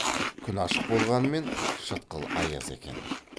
күн ашық болғанмен шытқыл аяз екен